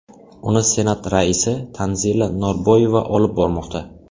Uni Senat raisi Tanzila Norboyeva olib bormoqda.